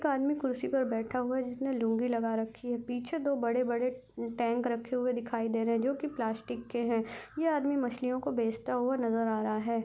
एक आदमी कुर्सी में पर बैठा हुआ जिसने लूंगी लागा रखी है पीछे दो बडे-बडे टैंक रखे हुए दिखाई दे रहे हैं जो की प्लास्टिक के है ये आदमी मछलियों को बेचता हुआ नजर आ रहा है।